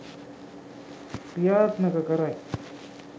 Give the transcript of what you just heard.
ක්‍රියාත්මක කරයි.